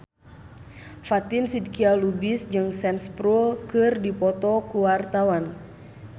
Fatin Shidqia Lubis jeung Sam Spruell keur dipoto ku wartawan